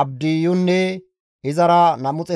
Abdiyunne izara 218 attumasati,